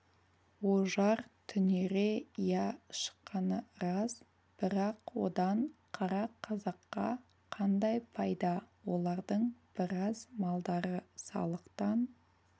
ожар түнере иә шыққаны рас бірақ одан қара қазаққа қандай пайда олардың біраз малдары салықтан